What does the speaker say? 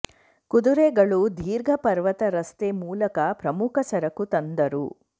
ಕುದುರೆಗಳು ದೀರ್ಘ ಪರ್ವತ ರಸ್ತೆ ಮೂಲಕ ಪ್ರಮುಖ ಸರಕು ತಂದರು